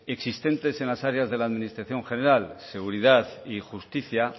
existentes en las áreas de la administración general seguridad y justicia